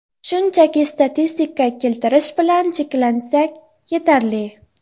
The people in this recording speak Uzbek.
Shunchaki statistika keltirish bilan cheklansak, yetarli.